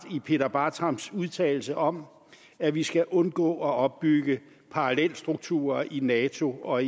i peter bartrams udtalelse om at vi skal undgå at opbygge parallelstrukturer i nato og